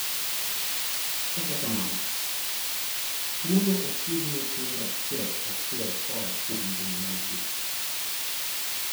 Kata kamano, tuwono ok yud nyithindo achiel kachiel koa kuom jonyuolgi.